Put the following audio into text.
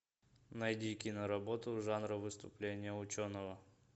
найди киноработу жанра выступление ученого